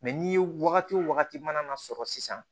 Mɛ ni wagati o wagati mana sɔrɔ sisan